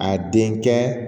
A denkɛ